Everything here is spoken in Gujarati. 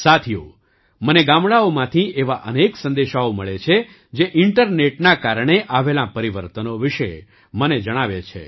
સાથીઓ મને ગામડાંઓમાંથી એવા અનેક સંદેશાઓ મળે છે જે ઇન્ટરનેટના કારણે આવેલાં પરિવર્તનો વિશે મને જણાવે છે